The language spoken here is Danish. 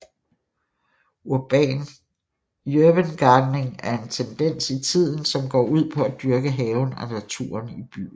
Urban gardening er en tendens i tiden som går ud af at dyrke haven og naturen i byen